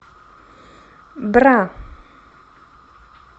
бра